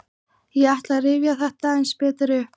Ég ætla að rifja þetta aðeins betur upp.